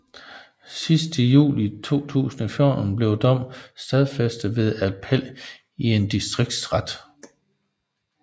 Sidst i juli 2014 blev dommen stadfæstet ved appel i en distriktsret